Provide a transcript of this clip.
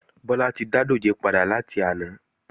Bọ́lá ti dá dòjé padà láti àná